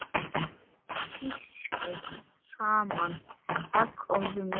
Pískið saman egg og mjólk.